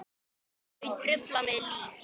Þau trufla mig lítt.